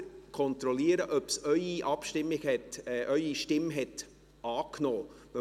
Kontrollieren Sie selber, ob es Ihre Stimme angenommen hat.